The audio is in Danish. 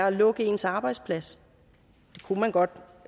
at lukke ens arbejdsplads det kunne man godt